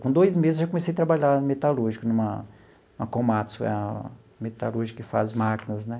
Com dois meses, já comecei a trabalhar metalúrgico numa... uma Komatsu, é a metalúrgica que faz máquinas, né?